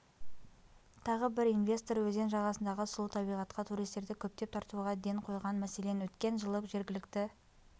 тағы бір инвестор өзен жағасындағы сұлу табиғатқа туристерді көптеп тартуға ден қойған мәселен өткен жылы жергілікті